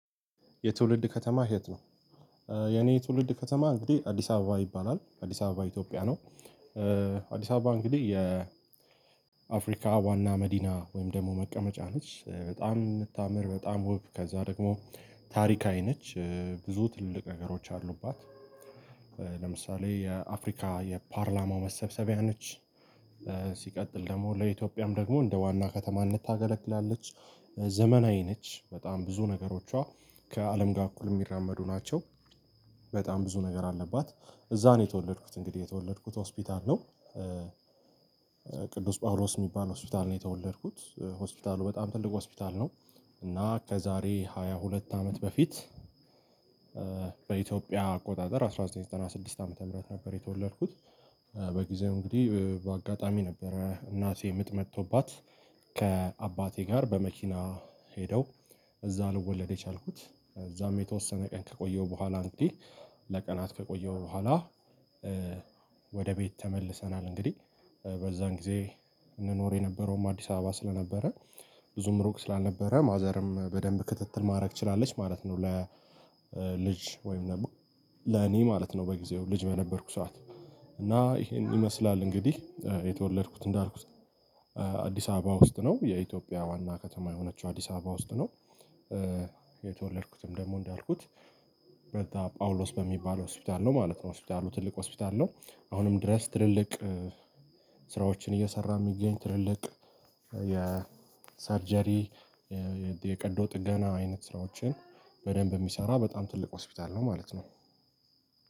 የትውልድ ከተማ የት ነው? የኔ ትውልድ ከተማ እንግዲህ አዲስ አበባ ይባላል። አዲስ አበባ ኢትዮጵያ ነው። አዲስ አበባ እንግዲህ የአፍሪካ ዋና መዲና ወይም ደግሞ መቀመጫ ነች። በጣም የምታምር በጣም ውብ ከዛ ደግሞ ታሪካዊ ነች። ብዙ ትልቅ ነገሮች አሉባት። ለምሳሌ የአፍሪካ የፓርላማው መሰብሰቢያ ነች። ሲቀጥል ደግሞ ለኢትዮጵያም ደግሞ እንደ ዋና ከተማነት ታገለግላለች። ዘመናዊ ነች በጣም ብዙ ነገሮቿ ከአለም ጋር እኩል የሚራመዱ ናቸው። በጣም ብዙ ነገር አለባት እዛ ነው የተወለድኩት እንግዲህ የተወለድኩት ሆስፒታል ነው። ቅዱስ ጳውሎስ የሚባል ሆስፒታል ነው የተወለድኩት። ሆስፒታሉ በጣም ትልቅ ሆስፒታል ነው። እና ከዛሬ ሃያ ሁለት አመት በፊት በኢትዮጵያ አቆጣጠር አስራ ዘጠኝ ዘጠና ስድስት ዓመተ ምህረት ነበር የተወለድኩት። በጊዜው እንግዲህ በአጋጣሚ ነበረ እናቴ ምጥ መጦባት ከአባቴ ጋር በመኪና ሄደው እዛ ልወለድ የቻልኩት። እዛም የተወሰነ ቀን ከቆየሁ በኋላ እንግዲህ ለቀናት ከቆየሁ በኋላ ወደ ቤት ተመልሰናል እንግዲህ። በዛን ጊዜ እንኖር የነበረውም አዲስ አበባ ስለነበረ ብዙም ሩቅ ስላአልነበረ ማዘርም በደንብ ክትትል ማድረግ ትችላለች ማለት ነው ለ ልጅ ወይም ደግሞ ለኔ ማለት ነው በጊዜው ልጅ በነበርኩ ሰዓት። እና ይሄን ይመስላል እንግዲህ የተወለድኩት እንዳልኩት አዲስ አበባ ውስጥ ነው የኢትዮጵያ ዋና ከተማ የሆነችው አዲስ አበባ ውስጥ ነው። የተወለድኩትም ደግሞ እንዳልኩት በዛ ጳውሎስ በሚባለው ሆስፒታል ነው ማለት ነው። ሆስፒታሉ ትልቅ ሆስፒታል ነው አሁንም ድረስ ትልልቅ ስራዎችን እየሰራ የሚገኝ ትልልቅ የሳርጀሪ የቀዶ ጥገና አይነት ስራዎችን በደንብ የሚሰራ በጣም ትልቅ ሆስፒታል ነው ማለት ነው።